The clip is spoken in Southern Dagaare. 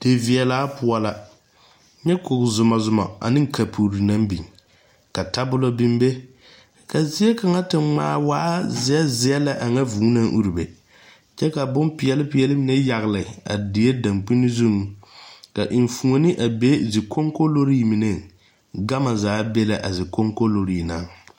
Di viɛla poʊ la. Nyɛ koge zuma zuma ane kapure naŋ biŋ. Ka tabule biŋ be. Ka zie kanga te ŋmaa waa zie zie lɛ a ŋa vuu na ure be. Kyɛ ka boŋ piɛli piɛli mene yagle a die danpune zuŋ. Ka eŋfuone a be zie konkolore meneŋ. Gama zaa be la a zikonkolore ŋa.